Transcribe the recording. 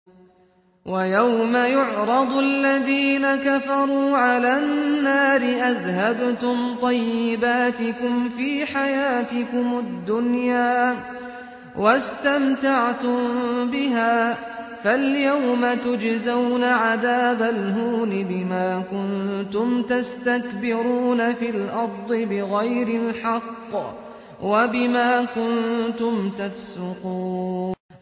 وَيَوْمَ يُعْرَضُ الَّذِينَ كَفَرُوا عَلَى النَّارِ أَذْهَبْتُمْ طَيِّبَاتِكُمْ فِي حَيَاتِكُمُ الدُّنْيَا وَاسْتَمْتَعْتُم بِهَا فَالْيَوْمَ تُجْزَوْنَ عَذَابَ الْهُونِ بِمَا كُنتُمْ تَسْتَكْبِرُونَ فِي الْأَرْضِ بِغَيْرِ الْحَقِّ وَبِمَا كُنتُمْ تَفْسُقُونَ